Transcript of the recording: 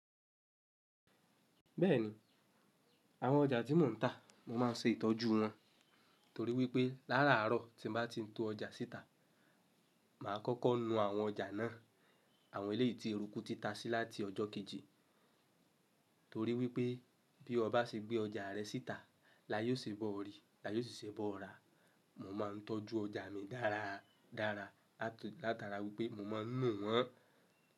Bẹ́ẹ̀ni, àwọn ọjà tí mò ń tà, mo máa ń ṣe ìtọ́jú wọn torí wípé lára àárọ̀ tí mo bá ti ń to ọjà síta, màá kọ́kọ́ nu àwọn ọjà náà, àwọn eléyìí tí eruku ti ta sí láti ọjọ́ kejì. Torí wípé bí ọba ṣe gbé ọjà rẹ síta, láyọ̀ ṣe bọ́ ọ rí, layé ó sì ṣe bọ́ ọ rà. Mo máa ń tọ́jú ọjà mi dára dára látara wípé mo máa ń nu wọ́n.